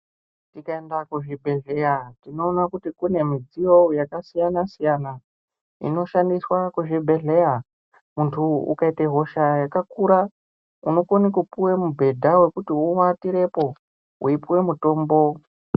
Tikaenda kuzvibhedhleya tinoona kuti kuti kune midziyo yakasiyana siyana inoshandiswa kuzvibhedhleya. Muntu ukaite hosha yakakuraunokone kupiwe mubhedha wekuti uwatirepo weipuwe mutombo.